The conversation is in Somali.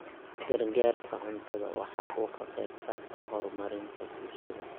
Gargaarka cuntadu waxa uu ka qayb qaataa horumarinta bulshada.